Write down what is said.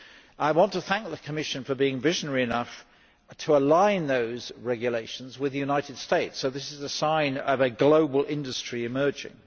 I want to thank the Commission for being visionary enough to align those regulations with the United States, so this is a sign of a global industry emerging.